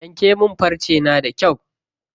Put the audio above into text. Yanke min farce na da kyau.